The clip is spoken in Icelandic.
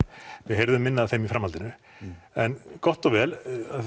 við heyrðum minna af þeim í framhaldinu en gott og vel